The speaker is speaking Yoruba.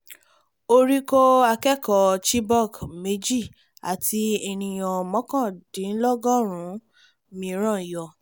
orí kọ́ akẹ́kọ̀ọ́bìnrin chibok méjì àti ènìyàn mọ́kàndínlọ́gọ́rùn-ún mìíràn yọ